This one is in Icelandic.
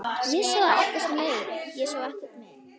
Ég sá ekkert mein.